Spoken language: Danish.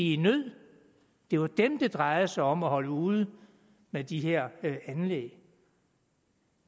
i nød det var dem det drejede sig om at holde ude med de her anlæg